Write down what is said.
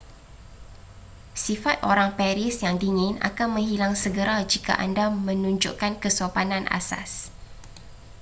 sifat orang paris yang dingin akan menghilang segera jika anda menunjukkan kesopanan asas